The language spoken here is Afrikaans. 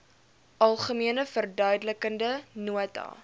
algemene verduidelikende nota